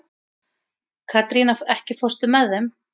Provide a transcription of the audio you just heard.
Katrína, ekki fórstu með þeim?